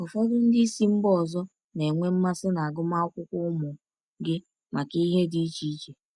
Ụfọdụ ndị si mba ọzọ na-enwe mmasị n’agụmakwụkwọ ụmụ gị maka ihe dị iche iche.